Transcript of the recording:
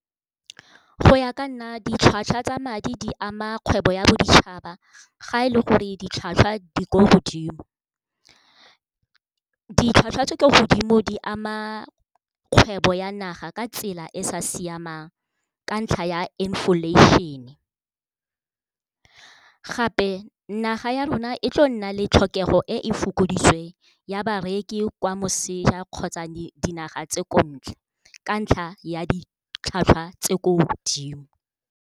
Go ya ka nna ditlhwatlhwa tsa madi di ama kgwebo ya boditšhaba ga e le gore ditlhwatlhwa di ko godimo. Ditlhwatlhwa tse di kwa godimo di ama kgwebo ya naga ka tsela e sa siamang ka ntlha ya inflation-e. Gape naga ya rona e tlo nna le tlhokego e e fokoditsweng ya bareki kwa moseja kgotsa dinaga tse ko ntle, ka ntlha ya ditlhwatlhwa tse ko godimo.